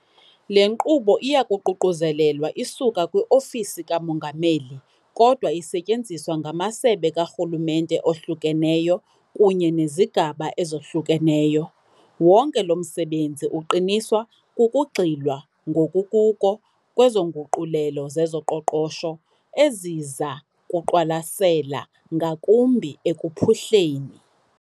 Le nkqubo iyaququzelelwa isuka kwi-Ofisi kaMongameli, kodwa isetyenziswa ngamasebe karhulumente ohlukeneyo kunye nezigaba ezohlukeneyo. Wonke lo msebenzi uqiniswa kukugxilwa ngokukuko kwezo nguqulelo zezoqoqosho eziza kuqwalasela ngakumbi ekuphuhleni.